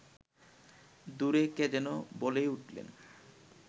দূরে কে যেন বলেই উঠলেন